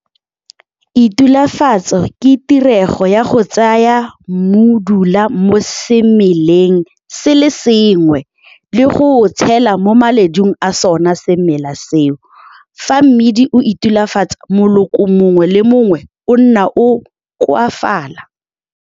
Itulafatso ke tirego ya go tsaya mmudula mo semeleng se le sengwe le go o tshela mo maledung a sona semela seo. Fa mmidi o itulafatsa, moloko mongwe le mongwe o nna o koafala.